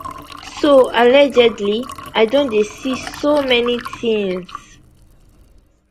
soallegedlyi don dey see so many tins